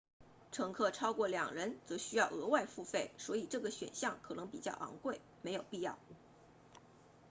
乘客超过2人则需要额外付费所以这个选项可能比较昂贵没有必要